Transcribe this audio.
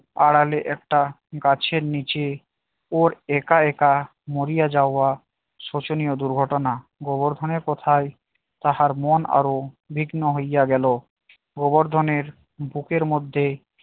আড়ালে একটা গাছের নিচে ওর একা একা মরিয়া যাওয়া শোষণীয় দুর্ঘটনা গোবর্ধনের কথায় তাহার মন আরো বিঘ্ন হইয়া গেল গোবর্ধনের বুকের মধ্যে